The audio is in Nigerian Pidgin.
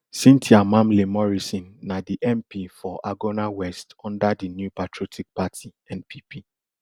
cynthia mamle morrison na di mp for agona west under di new patriotic party npp